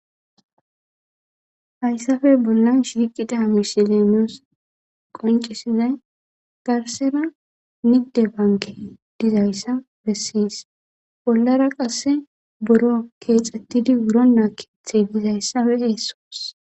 Hayssafe bollan shiqida mishilenoos qoncisizay garsera nigde banke dizayssa bessiys bollara qasse boro keexettidi wuronnaa keeththey dizayssafe eesoos.